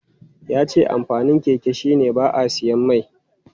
Ya ce amfanin keke shi ne ba a siyan mai.